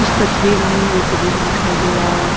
तस्वीर में एक रूम दिखाई दे रहा है।